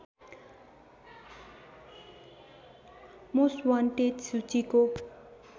most wanted सूचीको